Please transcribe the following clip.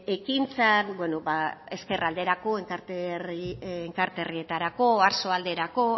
ekintzak ezkerralderako enkarterritarako oarsoaldareko